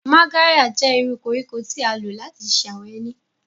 Magarya jẹ iru koriko ti a lo lati ṣe awọn eni.